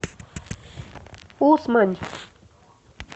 усмань